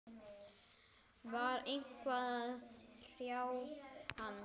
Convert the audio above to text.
Var eitthvað að hrjá hann?